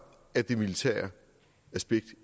at det militære aspekt